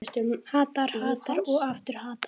Hattar, hattar og aftur hattar.